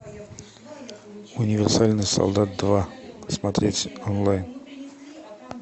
универсальный солдат два смотреть онлайн